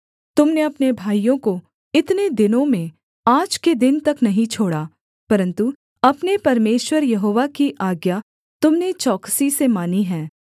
तुम ने अपने भाइयों को इतने दिनों में आज के दिन तक नहीं छोड़ा परन्तु अपने परमेश्वर यहोवा की आज्ञा तुम ने चौकसी से मानी है